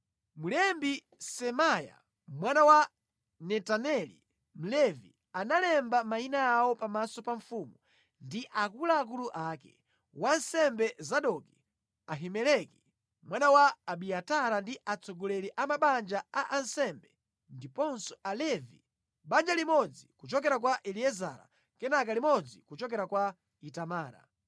Mlembi Semaya mwana wa Netaneli, Mlevi, analemba mayina awo pamaso pa mfumu ndi akuluakulu ake: wansembe Zadoki, Ahimeleki mwana wa Abiatara ndi atsogoleri a mabanja a ansembe ndiponso Alevi, banja limodzi kuchokera kwa Eliezara kenaka limodzi kuchokera kwa Itamara.